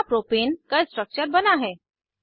यहाँ प्रोपेन का स्ट्रक्चर बना है